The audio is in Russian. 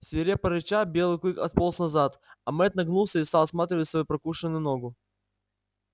свирепо рыча белый клык отполз назад а мэтт нагнулся и стал осматривать свою прокушенную ногу